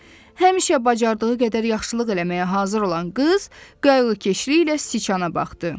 Həmişə bacardığı qədər yaxşılıq eləməyə hazır olan qız, qayğıkeşliyi ilə siçana baxdı.